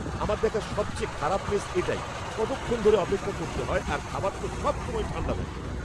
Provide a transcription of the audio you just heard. আমার দেখা সবচেয়ে খারাপ মেস এটাই। কতক্ষণ ধরে অপেক্ষা করতে হয় আর খাবার তো সবসময় ঠাণ্ডা থাকে।